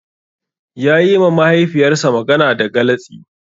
Yayi ma Mahaifiyarsa magana da galatsi.